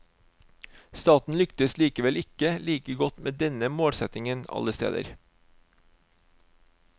Staten lyktes likevel ikke like godt med denne målsetningen alle steder.